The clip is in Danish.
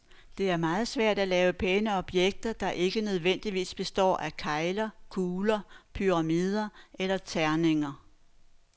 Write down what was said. Det er meget svært at lave pæne objekter, der ikke nødvendigvis består af kegler, kugler, pyramider eller terninger.